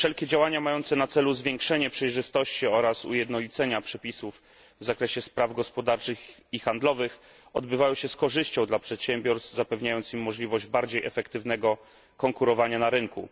Wszelkie działania mające na celu zwiększenie przejrzystości oraz ujednolicenie przepisów w zakresie spraw gospodarczych i handlowych odbywały się z korzyścią dla przedsiębiorstw, zapewniając im możliwość bardziej efektywnego konkurowania na rynku.